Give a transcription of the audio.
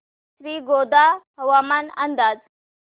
श्रीगोंदा हवामान अंदाज